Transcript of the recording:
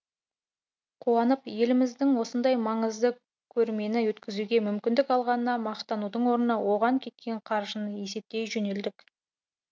қуанып еліміз осындай маңызды көрмені өткізуге мүмкіндік алғанына мақтанудың орнына оған кеткен қаржыны есептей жөнелдік